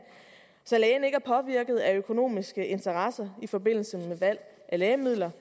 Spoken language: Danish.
så lægen ikke er påvirket af økonomiske interesser i forbindelse med valg af lægemidler